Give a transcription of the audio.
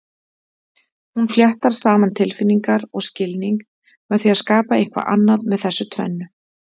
Hún fléttar saman tilfinningar og skilning með því að skapa eitthvað annað með þessu tvennu.